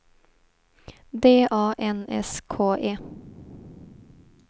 D A N S K E